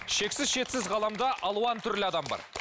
шексіз шетсіз ғаламда алуан түрлі адам бар